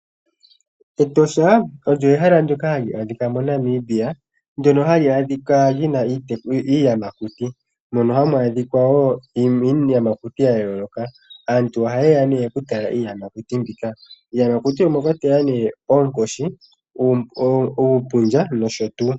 Etosha olyo ehala ndyoka hali adhika moNamibia, ndyono hali adhika li na iiyamakuti mono woo hamu adhika iiyamakuti ya yooloka. Aantu ohaye ya nee okutala iiyamakuti mbika. Iiyamakuti omwa kwatelwa nee oonkoshi, uupundja nosho tuu.